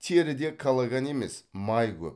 теріде коллаган емес май көп